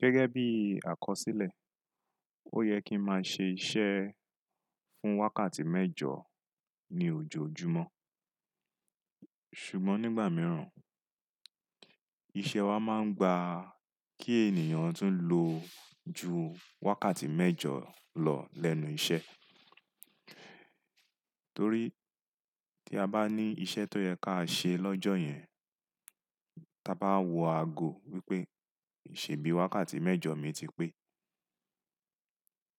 Gẹ́gẹ́ bí àkọsílẹ̀, ó yẹ kín máa ṣe iṣẹ́ fún wákàtí mẹ́jọ ní ojoojúmọ́. Ṣùgbọ́n nígbà mìíràn, iṣẹ́ wa máa ń gba kí ènìyàn tún lo ju wákàtí mẹ́jọ lọ lẹ́nu iṣẹ́. Torí tí a bá ní iṣẹ́ tó yẹ ká ṣe lọ́jọ́ yẹn, ta bá wọ ago wípé, "sebi wákàtí mẹ́jọ mi ti pé,"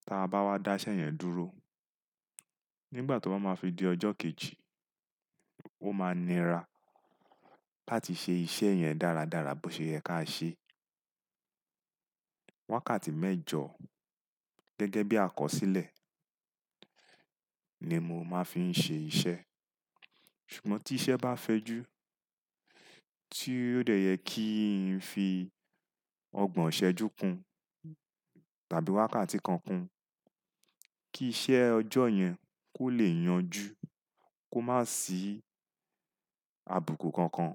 ta bá wá dá iṣẹ́ yẹn dúró, nígbà tó bá máa fi di ọjọ́ kejì, ó máa nira láti ṣe iṣẹ́ yẹn dáradára bó ṣe yẹ ká ṣe. Wákàtí mẹ́jọ, gẹ́gẹ́ bí àkọsílẹ̀, ni mo máa ń fin ṣe iṣẹ́. Ṣùgbọ́n tí iṣẹ́ bá fẹju, tí ó dẹ̀ yẹ kín fi ọgbọ̀n ṣẹ́jú kun tàbí wákàtí kan kun kí iṣẹ́ ọjọ́ yẹn kó lè yanjú, kó má sì àbùkù kankan,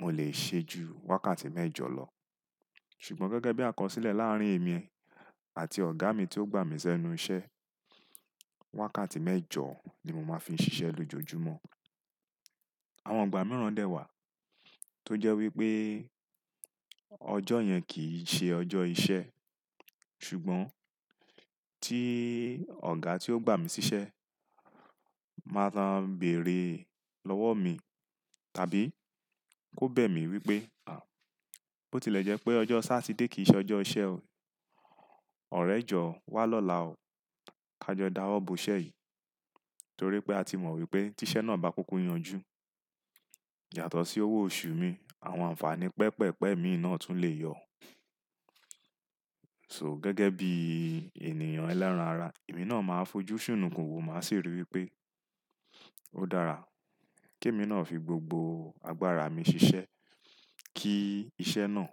mo lè ṣe ju wákàtí mẹ́jọ lọ. Ṣùgbọ́n gẹ́gẹ́ bí àkọsílẹ̀ láàrín èmi àti ọ̀gá mi tí ó gbà mí sẹ́nu iṣẹ́, wákàtí mẹ́jọ ni mo máa ń fi ṣiṣẹ́ lójoojúmọ́. Àwọn ìgbà mìíràn dè wà tó jẹ́ wípé ọjọ́ yẹn kì ṣe ọjọ́ iṣẹ́, ṣùgbọ́n tí ọ̀gá tí ó gbà mí síṣẹ́ máa lo n bèrè lọ́wọ́ mi tàbí kó bẹ̀ mí wípé, "À, bó ti lè jẹ́ pé ọjọ́ Sátidé kì í ṣe ọjọ́ iṣẹ́ o. Ọ̀rẹ́ jọ wá lọ́la o. Ka jọ dáwọ́ bo iṣẹ́ yìí." Torí pé a ti mọ̀ wípé tí iṣẹ́ náà bá kúkú yanjú, yàtọ̀ sí owó oṣù mi, àwọn ànfàní pẹpẹ̀pẹ̀ mi náà tún lè yọ. So gẹ́gẹ́ bí ènìyàn ẹlẹ́ran ara, èmi náà máa fojú ṣùn nù kún òwò, màá sì rí wípé ó dára kí èmi náà fi gbogbo agbára mi ṣiṣẹ́ kí iṣẹ́ náà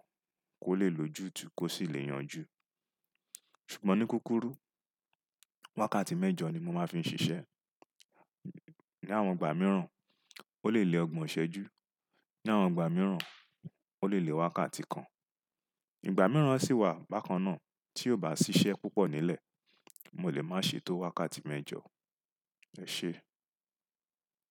kó lè lojútu kó sì lè yanjú. Ṣùgbọ́n ní kúkúrú, wákàtí mẹ́jọ ni mo máa ń fi ṣiṣẹ́. Ni àwọn ìgbà mìíràn, ó lè le ọgbọ̀n ṣẹ́jú, ní àwọn ìgbà mìíràn ó lè le wákàtí kan. Ìgbà mìíràn sì wà bákan náà tí ó bá ṣiṣẹ́ púpọ̀ nílẹ̀, mo lè máa ṣe tó wákàtí mẹ́jọ. Ẹ ṣé.